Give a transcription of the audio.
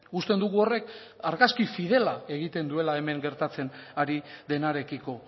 uste dugu horrek argazki fidela egiten duela hemen gertatzen ari denarekiko